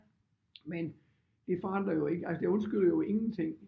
Men det forandrer jo ikke altså det undskylder jo ingenting